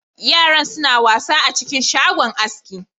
Yaran suna wasa a cikin shagon aski.